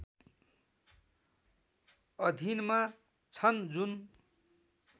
अधीनमा छन् जुन